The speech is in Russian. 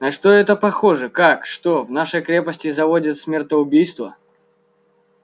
на что это похоже как что в нашей крепости заводит смертоубийство